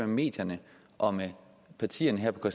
medierne og med partierne her på